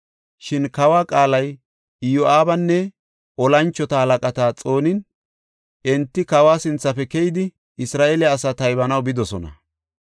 Shin kawa qaalay Iyo7aabanne tora moconata xoonin, enti kawa sinthafe keyidi, Isra7eele asaa taybanaw bidosona.